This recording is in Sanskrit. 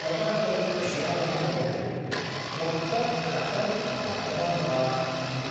ततः वयं पश्यावः यत् त्वं तत् कथमपि प्राप्तवान् वा इति।